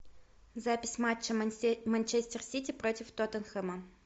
запись матча манчестер сити против тоттенхэма